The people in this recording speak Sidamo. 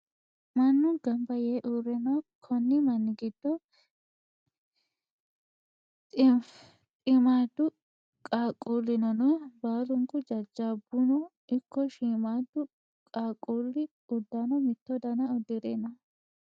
Mannu gamba yee uurre no. Konni manni giddono dhiimmadu qaaqqulli no. Baalunku jajjabbuno ikko shiimmadu qaaqqulli uddano mitto dana uddire no.